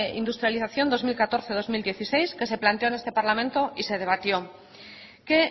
industrialización dos mil catorce dos mil dieciséis que se planteó en este parlamento y se debatió que